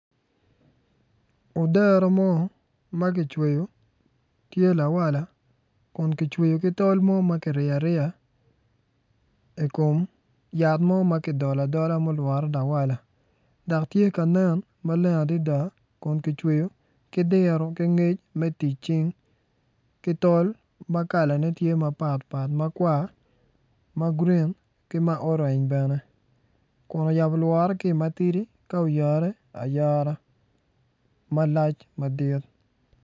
Dero mo ma kicweyo tye lawala kun kicweyo ki tol mo ma kiriyo ariya i kom yat mo ma kidolo adola ma olwore lawala dok tye ka nen ma leng adada kun kicweyo ki diro ki ngec me tic cing ki tol ma kalane tye mapatpat makwar, ma grin ki ma orange bene kun oyabo lwore ki i ma tidi ka oyare ayara malac madit.